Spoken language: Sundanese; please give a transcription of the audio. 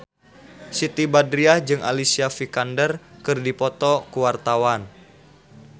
Siti Badriah jeung Alicia Vikander keur dipoto ku wartawan